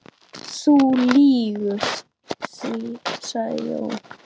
Þú lýgur því, sagði Jón.